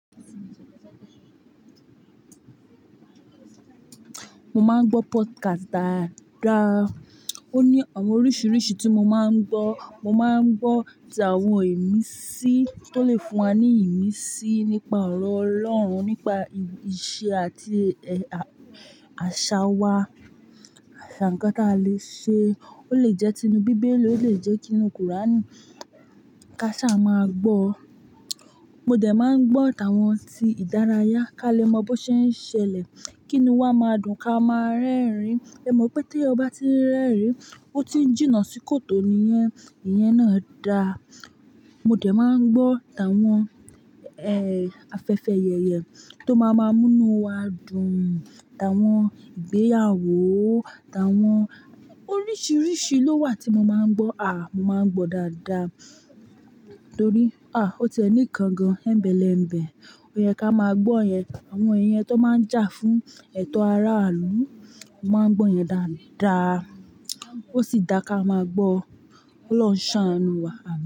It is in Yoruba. Mo máa ń gbọ́ podcast dáadáa. Ó ní àwọn oríṣiríṣi tí mo máa ń gbọ́. Mo máa ń gbọ́ ti àwọn ìmísí tó lè fún wa ní ìmísí nípa ọ̀rọ̀ Ọlọ́run, nípa ìṣe àti àṣà wa, àṣà nǹkan tí a lè ṣe. Ó lè jẹ́ tinu Bíbélì, ó lè jẹ́ tinu Kùránì káṣá máa gbọ́. Mo dẹ̀ máa ń gbọ́ ìtàn àwọn tí ìdárayá ká lè mọ bó ṣe ń ṣẹlẹ̀ kínúu wa máa dùn ká máa rẹ́rìn-ín. Ẹ mọ̀ wípé tí èèyàn bá ti ń rẹ́rìn-ín, ó ti n jìnnà sí kòtò nìyẹn, ìyẹn náà da. Mo dẹ̀ máa ń gbọ́ ìtàn àwọn, ẹ, afẹ́fẹ́ ẹyẹ tó máa máa mú inú wa dùn, ìtàn àwọn ìgbéyàwó, ìtàn àwọn-- oríṣiríṣi ló wà tí mo máa ń gbọ́. À, mo máa ń gbọ́ dáadáa torí, à, ó ti ẹ̀ ni kan gan-an ẹ̀bẹ̀lẹ̀ ẹ̀bẹ̀. Ó yẹ ká máa gbọ́ ìyẹn, àwọn ìyẹn tó máa ń jà fún ẹ̀tọ́ aráàlú, mo máa ń gbọ́ yẹn dáadáa. Ó sì dáa ká máa gbọ́ ọ. Ọlọhun ṣàáánú wa.